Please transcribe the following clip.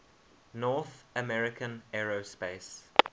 north american aerospace